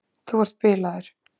Þú ert bilaður!